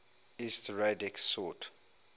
lsd radix sort